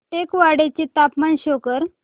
टेकवाडे चे तापमान शो कर